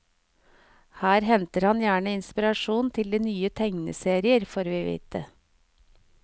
Her henter han gjerne inspirasjon til nye tegneserier, får vi vite.